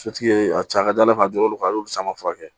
Sotigi ye a ka ca ala fɛ a dir'olu kan a y'olu caman furakɛ